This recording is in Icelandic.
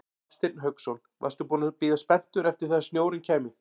Hafsteinn Hauksson: Varstu búinn að bíða spenntur eftir því að snjórinn kæmi?